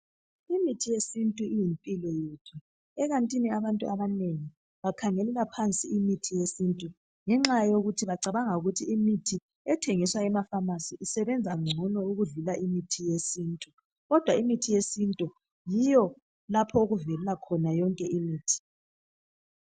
imithi yesintu iyimpilo yethu ekantini abantu abanengi bakhangelela phansi imithi yesintu ngenxa yokuthi bacabanga ukuthi imithi ethengiswa em pamarcy isebenza ncono ukudlula imithi yesintu kodwa imithi yesintu yiyo lapho okuvelela khona yonke imithi